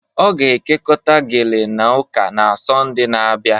Ọ ga-ekekọta gele na ụka na Sọnde na-abịa